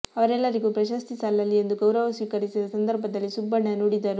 ಅವರೆಲ್ಲರಿಗೂ ಪ್ರಶಸ್ತಿ ಸಲ್ಲಲಿ ಎಂದು ಗೌರವ ಸ್ವೀಕರಿಸಿದ ಸಂದರ್ಭದಲ್ಲಿ ಸುಬ್ಬಣ್ಣ ನುಡಿದರು